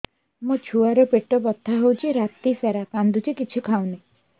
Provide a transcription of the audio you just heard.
ମୋ ଛୁଆ ର ପେଟ ବଥା ହଉଚି ରାତିସାରା କାନ୍ଦୁଚି କିଛି ଖାଉନି